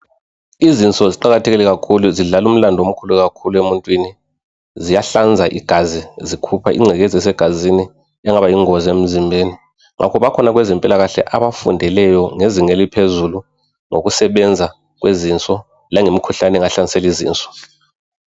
Izinso ziqakathekile kakhulu zidlala umlandu omkhulu kakhulu emuntwini Ziyahlanza igazi zikhupha ingcekeza esegazini engaba yingozi emzimbeni Ngakho bakhona kwezempilakahle abafundileyo ngezinga eliphezulu ngokusebenza kwezinso lemikhuhlane engahlasela izinso